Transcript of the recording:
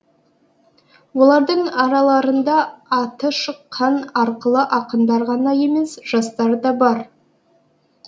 олардың араларында аты шыққан арқылы ақындар ғана емес жастар да бар